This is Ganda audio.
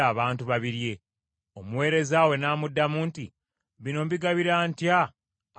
Omuweereza we n’amuddamu nti, “Bino mbigabula ntya abantu ekikumi?”